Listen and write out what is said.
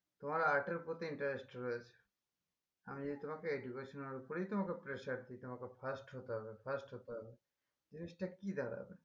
তোমার art এর প্রতি interest রয়েছে আমি যদি তোমাকে education এর উপরেই তোমাকে pressure দি তোমাকে first হতে হবে first হতে হবে জিনিসটা কি দাঁড়াবে